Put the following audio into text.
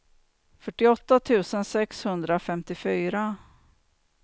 fyrtioåtta tusen sexhundrafemtiofyra